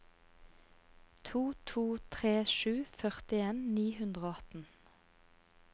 to to tre sju førtien ni hundre og atten